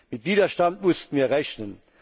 Mit Widerstand mussten wir rechnen.